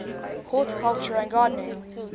horticulture and gardening